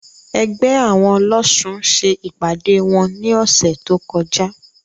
Ẹgbẹ́ àwọn ọlọ́ṣun ṣe ìpàdé wọn ní ọ̀sẹ̀ tó kọjá.